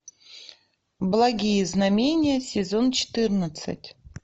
благие знамения сезон четырнадцать